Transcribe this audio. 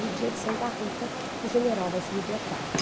No dia de Santa Rita, o general vai ser libertado.